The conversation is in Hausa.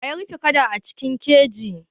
Waye ya rufe kada a cikin keji?